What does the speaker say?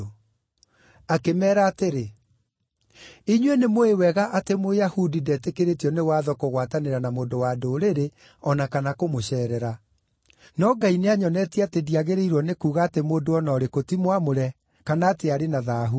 Akĩmeera atĩrĩ: “Inyuĩ nĩmũũĩ wega atĩ Mũyahudi ndetĩkĩrĩtio nĩ watho kũgwatanĩra na mũndũ wa Ndũrĩrĩ o na kana kũmũceerera. No Ngai nĩanyonetie atĩ ndiagĩrĩirwo nĩ kuuga atĩ mũndũ o na ũrĩkũ ti mwamũre kana atĩ arĩ na thaahu.